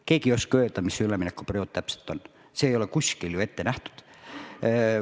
Keegi ei oska öelda, milline see üleminekuperiood täpselt on, seda ei ole ju kuskil ette kirjutatud.